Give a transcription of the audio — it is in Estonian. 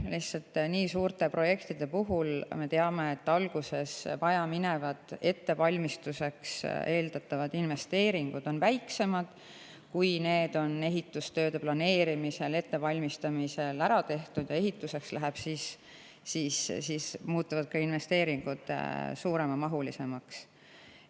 Lihtsalt nii suurte projektide puhul me teame, et alguses ettevalmistuse jaoks eeldatavad investeeringud on väiksemad, aga kui ehitustööde planeerimise ja ettevalmistamise käigus on need ära tehtud ning ehituseks läheb, siis muutuvad ka investeeringud suuremamahuliseks.